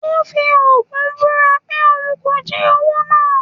ó fi ogún búra pé òun kò jí owó náà